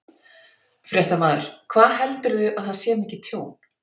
Fréttamaður: Hvað heldurðu að það sé mikið tjón?